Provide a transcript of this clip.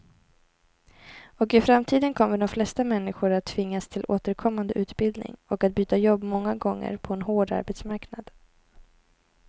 Och i framtiden kommer de flesta människor att tvingas till återkommande utbildning och att byta jobb många gånger på en hård arbetsmarknad.